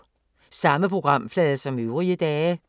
Samme programflade som øvrige dage